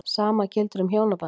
Sama gildir um hjónabandið.